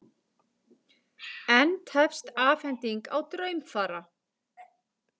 Enn tefst afhending á draumfara